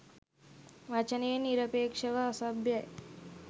වචනයෙන් නිරපේක්ෂව අසභ්‍යයි